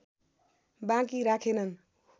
बाँकी राखेनन्